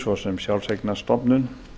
svo sem sjálfseignarstofnun